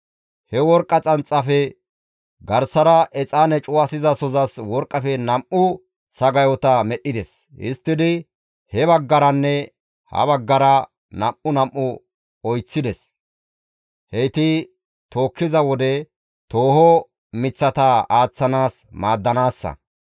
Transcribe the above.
He worqqa xanxaafe garsara exaane cuwasizasozas worqqafe nam7u sagayota medhdhides; histtidi he baggaranne ha baggara nam7u nam7u oyththides. Heyti tookkiza wode tooho miththata aaththanaas maaddanaassa.